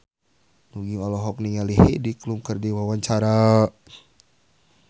Nugie olohok ningali Heidi Klum keur diwawancara